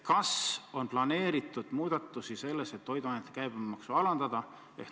Kas on planeeritud muudatusi, et toiduainete käibemaksu alandada?